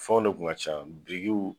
Fɛnw de kuna ka ca birikiw